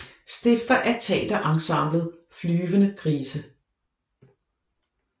Stifter af teater ensemblet Flyvende Grise